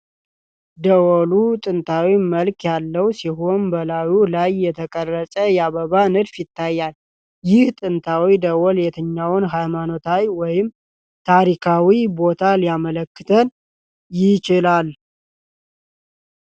ደወሉ ጥንታዊ መልክ ያለው ሲሆን፣ በላዩ ላይ የተቀረጸ የአበባ ንድፍ ይታያል። ይህ ጥንታዊ ደወል የትኛውን ሃይማኖታዊ ወይም ታሪካዊ ቦታ ሊያመለክት ይችላል?